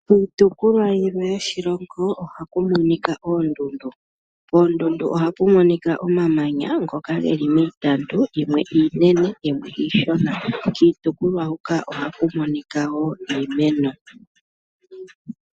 Iitopolwa yimwe yoshilongo ohaku monika oondundu, koondundu ohaku monika omamanya ngoka geli miitandu yimwe iinene yimwe iishona, kiitopolwa hoka ohaku monika woo iimeno.